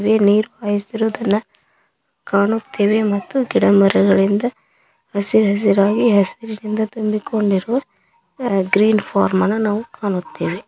ಇಲ್ಲಿ ನೀರ್ ಕಾಯಸ್ತಿರೊದನ್ನ ಕಾಣುತ್ತೆವೆ ಮತ್ತು ಗಿಡ ಮರಗಳಿಂದ ಹಸಿ ಹಸಿರಾಗಿ ಹಸಿರಿನಿಂದ ತುಂಬಿ ಕೊಂಡಿರುವ ಗ್ರೀನ್ ಫಾರ್ಮ್ ಅನ್ನ ನಾವು ಕಾಣುತ್ತೆವೆ.